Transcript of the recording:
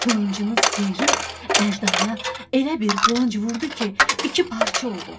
Qılıncını sıyırıb əjdahaya elə bir qılınc vurdu ki, iki parça oldu.